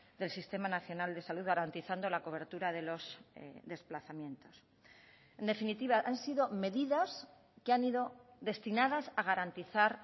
del sistema nacional de salud garantizando la cobertura de los desplazamientos en definitiva han sido medidas que han ido destinadas a garantizar